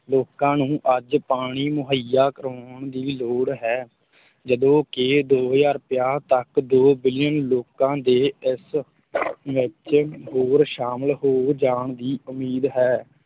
ਲੋਕਾਂ ਨੂੰ ਅੱਜ ਪਾਣੀ ਮੁਹੱਈਆ ਕਰਵਾਉਣ ਦੀ ਲੋੜ ਹੈ, ਜਦੋਂ ਕਿ ਦੋ ਹਜ਼ਾਰ ਪੰਜਾਹ ਤੱਕ ਦੋ ਬਿਲੀਅਨ ਲੋਕਾਂ ਦੇ ਇਸ ਵਿੱਚ ਹੋਰ ਸ਼ਾਮਲ ਹੋ ਜਾਣ ਦੀ ਉਮੀਦ ਹੈ।